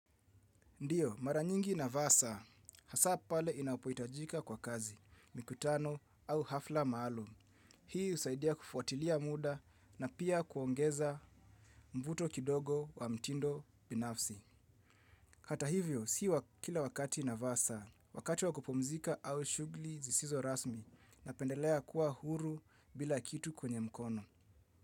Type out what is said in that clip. Ndiyo, mara nyingi navasa. Hasa pale inapohitajika kwa kazi, mikutano au hafla maalum. Hii husaidia kufuatilia muda na pia kuongeza mvuto kidogo wa mtindo binafsi. Hata hivyo, si kila wakati navaa saa. Wakati wa kupumzika au shughuli zisizo rasmi napendelea kuwa huru bila kitu kwenye mkono.